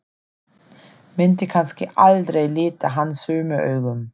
Myndi kannski aldrei líta hann sömu augum.